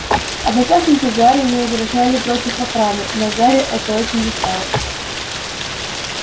одноклассники гарри не возражали против охраны но гарри это очень мешало